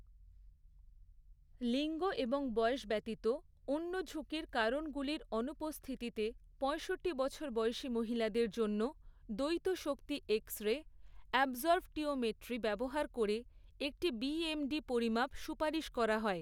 লিঙ্গ এবং বয়স ব্যতীত, অন্য ঝুঁকির কারণগুলির অনুপস্থিতিতে, পয়ষট্টি বছর বয়সী মহিলাদের জন্য, দ্বৈত শক্তি এক্সরে অ্যাবসর্পটিওমেট্রি ডিএক্সএ ব্যবহার করে, একটি বিএমডি পরিমাপ সুপারিশ করা হয়।